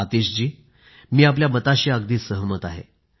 आतिश जी मी आपल्या मताशी अगदी सहमत आहे